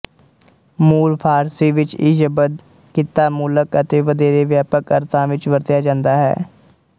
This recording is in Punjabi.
ਮੂਲ ਫ਼ਾਰਸੀ ਵਿੱਚ ਇਹ ਸ਼ਬਦ ਕਿੱਤਾਮੂਲਕ ਅਤੇ ਵਧੇਰੇ ਵਿਆਪਕ ਅਰਥਾਂ ਵਿੱਚ ਵਰਤਿਆ ਜਾਂਦਾ ਹੈ